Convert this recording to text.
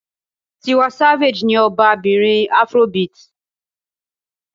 Tiwa Savage ni ọba bìnrin Afrobeat.